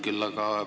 Mina nimetasin.